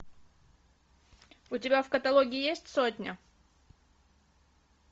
у тебя в каталоге есть сотня